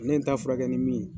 Ne ye n ta furakɛ ni min ye.